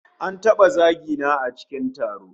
An taba zagi na a cikin taro